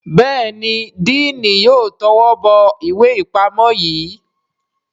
Béèni Diini yóò towó bó ìwé ipamọ yí.